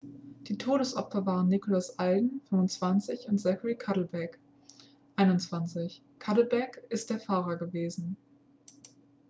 die todesopfer waren nicholas alden 25 und zachary cuddeback 21. cuddeback ist der fahrer gewesen